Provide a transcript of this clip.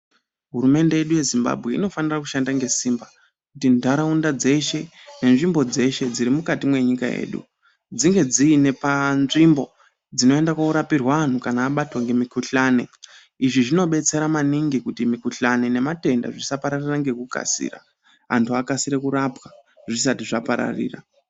Hurumende yedu yezimbabwe inofana kushanda ngesimba kuti ndaraunda dzeshe nenzvimbo dzeshe dziri mukati menyika yedu dzinge dzine kanzvimbo inorapirwa antu kana abatwa nemikuhlani izvi zvinodetsera maningi kuti mikuhlani nematenda zvisapararira nekukasira antu akasire kurapwa zvisati zvapararira.